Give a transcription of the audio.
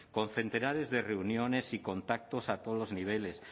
con centenares de reuniones y contactos a todos los niveles